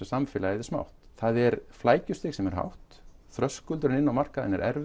samfélagið er smátt það er flækjustig sem er hátt þröskuldurinn inn á markaðinn er